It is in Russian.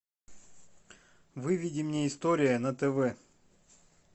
выведи мне история на тв